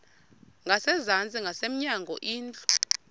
ngasezantsi ngasemnyango indlu